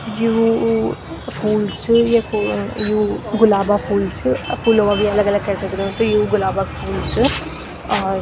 ज्यू ऊ फूल च यख ओ यु गुलाबो फूल च अब फूलों म भी अलग अलग केटेगरी हुन्द त यु गुलाबो क फूल च और।